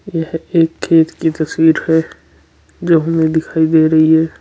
यह एक खेत की तस्वीर है जो हमें दिखाई दे रही है।